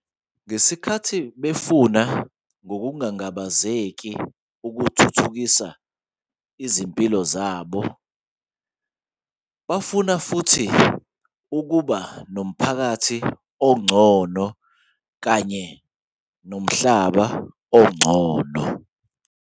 Ngesikhathi befuna ngokungangabazeki ukuthuthukisa izimpilo zabo, bafuna futhi ukuba nomphakathi ongcono kanye nomhlaba ongcono.